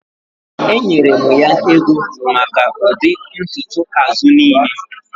Enyere m ya ego maka ụdị ntutu azụ niile